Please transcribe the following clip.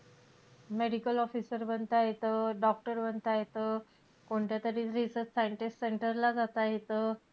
Medical officer बनता येतं, doctor बनता येतं. कोणत्यातरी research scientist centre ला जाता येतं